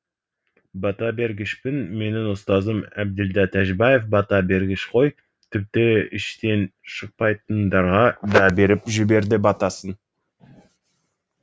бата бергішпін менің ұстазым әбділда тәжібаев бата бергіш қой тіпті іштен шықпайтындарға да беріп жіберді батасын